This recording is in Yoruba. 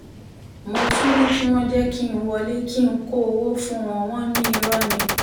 mo tún ní kí wọ́n jẹ́ kí n wọlé kí n kó owó fún wọn wọn ní irọ́ ni